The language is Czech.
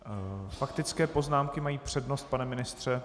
Faktické poznámky mají přednost, pane ministře.